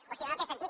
o si no no té sentit